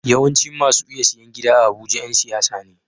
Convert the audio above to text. Yawancin masu iya siyan gida a abuja Yan siyasa ne